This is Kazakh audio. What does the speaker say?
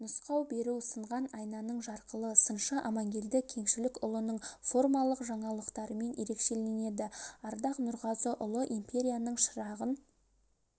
нұсқау беру сынған айнаның жарқылы сыншы амангелді кеңшілікұлының формалық жаңалықтарымен ерекшеленеді ардақ нұрғазыұлы империяның шырағын